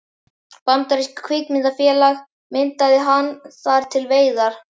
Bandarískt kvikmyndafélag myndaði hann þar við veiðar.